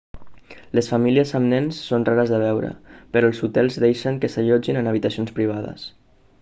les famílies amb nens són rares de veure però els hotels deixen que s'allotgin en habitacions privades